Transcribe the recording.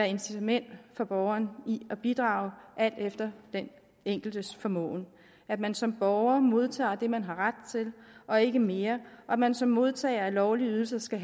incitament for borgeren i at bidrage alt efter den enkeltes formåen at man som borger modtager det man har ret til og ikke mere og at man som modtager af lovlige ydelser skal